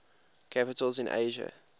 capitals in asia